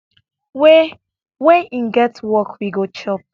wen wen im get work we go chop